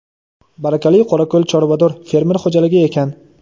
"Barakali qorako‘l chorvador" fermer xo‘jaligi ekan.